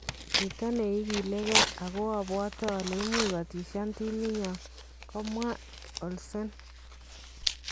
Chito nekilege ako abwote ole imuch kotishan timinyon, Kamwa Olsen.